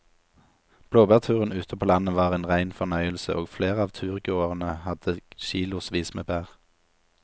Blåbærturen ute på landet var en rein fornøyelse og flere av turgåerene hadde kilosvis med bær.